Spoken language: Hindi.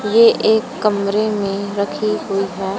ये एक कमरे में रखी हुई है।